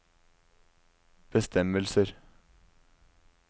bestemmelser